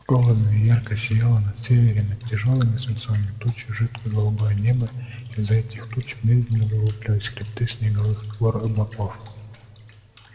холодно и ярко сияло на севере над тяжёлыми свинцовыми тучами жидкое голубое небо из-за этих туч медленно выплывали хребты снеговых гор-облаков